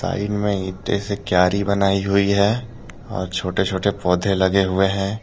इनमें ईंटे से क्यारी बनाई हुई है और छोटे छोटे पौधे लगे हुए हैं।